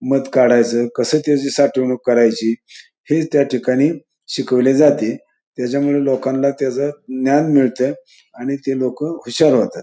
मध काढयच कसं त्याच साठवणूक करायची हेच त्या ठिकाणी शिकवल जाते तेज्यामुळे लोकांना तेज ज्ञान मिळत आणि ते लोक हुशार होतात.